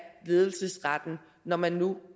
ledelsesretten når man nu